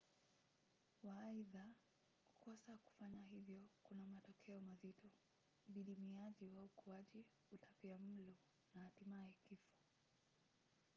waaidha kukosa kufanya hivyo kuna matokeo mazito: udidimiaji wa ukuaji utapiamlo na hatimaye kifo